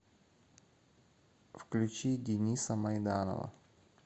включи дениса майданова